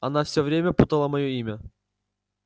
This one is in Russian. она все время путала моё имя